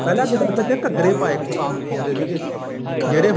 ਪਹਿਲਾਂ ਕਿੱਦਾਂ ਬੱਚੇ ਘੱਗਰੇ ਪਾਉਂਦੇ ਸੀਗੇ ਜਿਹੜਾ ਹੁਣ